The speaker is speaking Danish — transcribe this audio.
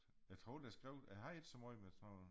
Jeg tror det skrev jeg havde ikke så meget med sådan nogen